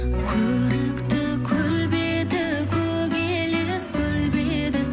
көрікті көл беті көк елес көлбеді